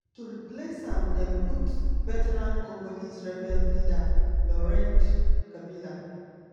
to replace am dem put veteran congolese rebel leader laurent kabila.